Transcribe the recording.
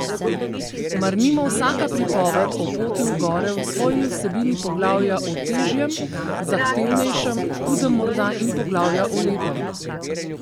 Mar nima vsaka pripoved o poti v gore v svoji vsebini poglavja o težjem, zahtevnejšem, hudem morda in poglavja o lepem?